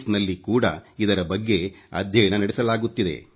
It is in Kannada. ಎಸ್ ಕೂಡ ಇದರ ಬಗ್ಗೆ ಅಧ್ಯಯನ ನಡೆಸಲಾಗುತ್ತಿದೆ